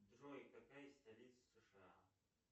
джой какая столица сша